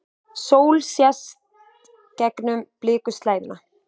Sól sést gegnum blikuslæðuna.